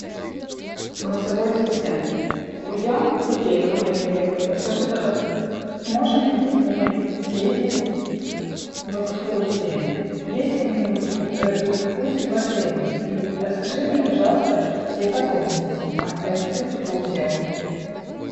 голосовой ассистент друзья хотели ко мне приехать подскажи пожалуйста можем ли мы с ними съездить в экскурсии есть ли они эти экскурсии в отеле и расскажи мне пожалуйста все подробности об этих экскурсиях